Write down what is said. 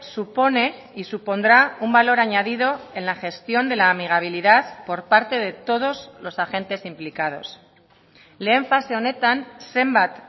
supone y supondrá un valor añadido en la gestión de la amigabilidad por parte de todos los agentes implicados lehen fase honetan zenbat